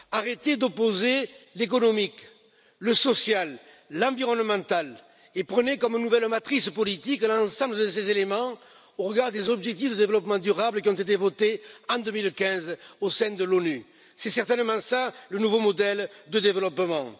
Arrêtez d'opposer l'économique, le social, l'environnemental, et prenez comme nouvelle matrice politique un ensemble de ces éléments au regard des objectifs de développement durable, qui ont été votés en 2015 au sein des Nations unies. C'est certainement cela le nouveau modèle de développement.